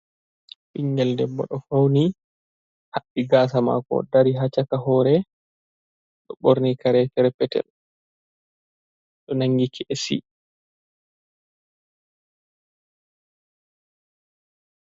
Bingel ɗeɓɓo ɗo fauni haɓɓi gasa mako ɗari ha caka hore, ɗo ɓorni kare perpetel ɗo nangi ke'si.